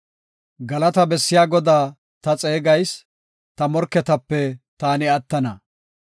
Galata bessiya Godaa ta xeegayis; ta morketape taani attana.